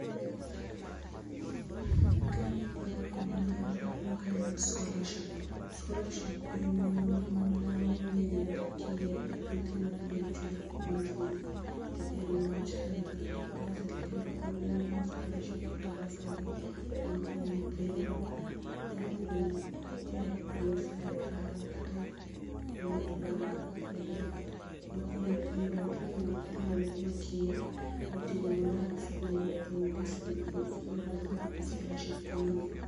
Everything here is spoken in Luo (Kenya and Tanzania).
Kang'iyo barua ni maber to aneno ka en scholarship. Sholarship en moro mi imiyo n nyithi kiye kata nyithi ma ok nyal chulo school fees to en wach sirkal koro sirkal omo scholarship kata bursary ma konyo nyithindo nyalo bedo ko oa e lwet sirkal kata e lwet bank direct ma konyo nyithindo nitie nyithindo moko ma kiye ma otimo maber e skul to onge school fees koro bursary gi scholarship konyo gi.